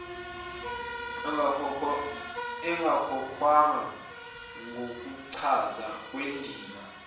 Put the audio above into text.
engakhokhwanga ngokuchaza kwendima